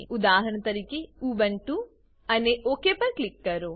ઉદાહરણ તરીકે ઉબુન્ટુ અને ઓક પર ક્લિક કરો